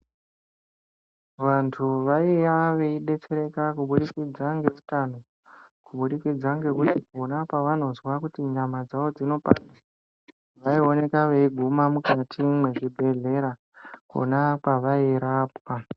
Vantu vaiva veidetsereka kuburikidza ngeutano kuburikidza ngekuti pona pavanonzwa kuti nyama dzawo dzinopanda vaioneka veiguma mukati mezvibhedhlera Kona kwavairapwa.